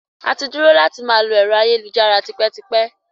Àti dúró láti máa lò ẹ̀rọ ayélujára tipẹ́tipẹ́.